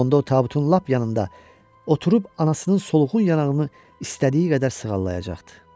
Onda o tabutun lap yanında oturub anasının solğun yanağını istədiyi qədər sığallayacaqdı.